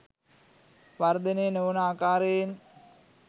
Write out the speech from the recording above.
වර්ධනය නොවන ආකාරයෙන්